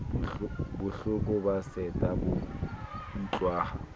bohloko ba seeta bo utluwa